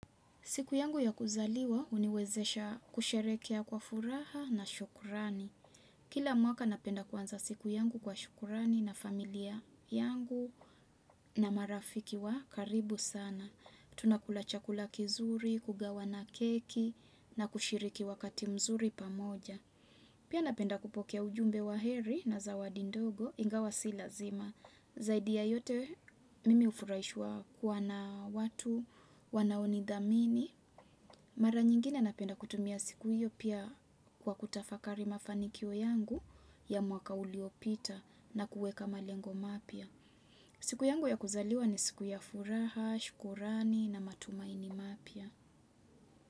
Siku yangu ya kuzaliwa huniwezesha kusherekea kwa furaha na shukurani. Kila mwaka napenda kwanza siku yangu kwa shukurani na familia yangu na marafiki wa karibu sana. Tunakula chakula kizuri, kugawana keki na kushiriki wakati mzuri pamoja. Pia napenda kupokea ujumbe wa heri na zawadi ndogo ingawa si lazima. Zaidi ya yote mimi hufuraishwa kuwa na watu, wanaonidhamini. Mara nyingine napenda kutumia siku hiyo pia kwa kutafakari mafanikio yangu ya mwaka uliopita na kuweka malengo mapya. Siku yangu ya kuzaliwa ni siku ya furaha, shukrani na matumaini mapya.